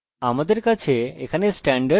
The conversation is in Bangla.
আমাদের কাছে এখানে স্ট্যান্ডার্ড আছে